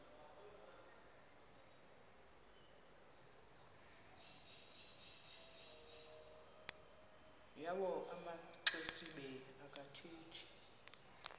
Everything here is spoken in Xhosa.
yawo amaxesibe akathethi